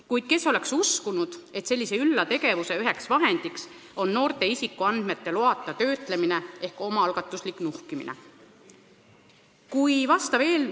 Kuid kes oleks uskunud, et sellise ülla tegevuse üks vahend on noorte isikuandmete loata töötlemine ehk omaalgatuslik nuhkimine?